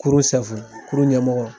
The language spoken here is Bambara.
Kurun kurun ɲɛmɔgɔ .